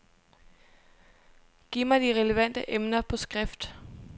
Giv mig de relevante emner på skrift.